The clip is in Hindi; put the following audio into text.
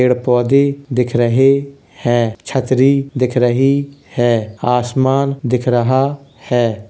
पेड़ पौधे दिख रहें हैं | छतरी दिख रही है आसमान दिख रहा है। ]>